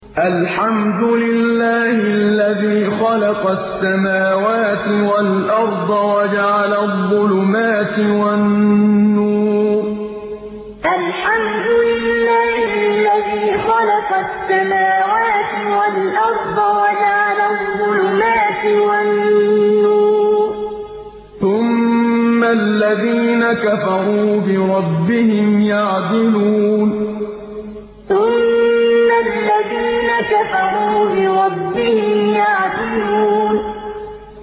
الْحَمْدُ لِلَّهِ الَّذِي خَلَقَ السَّمَاوَاتِ وَالْأَرْضَ وَجَعَلَ الظُّلُمَاتِ وَالنُّورَ ۖ ثُمَّ الَّذِينَ كَفَرُوا بِرَبِّهِمْ يَعْدِلُونَ الْحَمْدُ لِلَّهِ الَّذِي خَلَقَ السَّمَاوَاتِ وَالْأَرْضَ وَجَعَلَ الظُّلُمَاتِ وَالنُّورَ ۖ ثُمَّ الَّذِينَ كَفَرُوا بِرَبِّهِمْ يَعْدِلُونَ